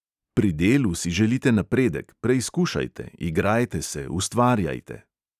Pri delu si želite napredek, preizkušajte, igrajte se, ustvarjajte.